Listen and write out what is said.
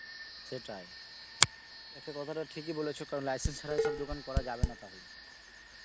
সেটাই, একটা কথাটা ঠিক ই বলেছ কারণ license ছাড়া এসব দোকান করা যাবে না তাহলে